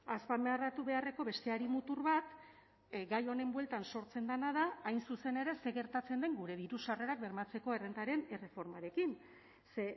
azpimarratu beharreko beste hari mutur bat gai honen bueltan sortzen dena da hain zuzen ere zer gertatzen den gure diru sarrerak bermatzeko errentaren erreformarekin ze